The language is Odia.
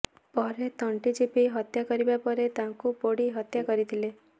ପରେ ତଣ୍ଟି ଚିପି ହତ୍ୟା କରିବା ପରେ ତାଙ୍କୁ ପୋଡ଼ି ହତ୍ୟା କରିଥିଲେ